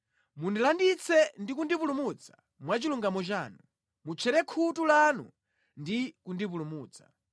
Mundilanditse ndi kundipulumutsa mwa chilungamo chanu, mutchere khutu lanu ndi kundipulumutsa.